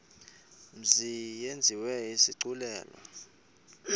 mzi yenziwe isigculelo